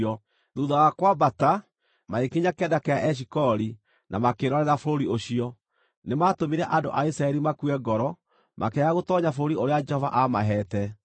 Thuutha wa kwambata, magĩkinya kĩanda kĩa Eshikoli na makĩĩrorera bũrũri ũcio-rĩ, nĩmatũmire andũ a Isiraeli makue ngoro makĩaga gũtoonya bũrũri ũrĩa Jehova amaheete.